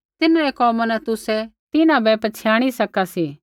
तिन्हरै कोमा न तुसै तिन्हां बै पछ़ियाणि सका सी